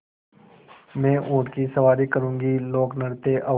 मैं ऊँट की सवारी करूँगी लोकनृत्य और